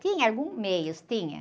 Tinha alguns meios, tinha.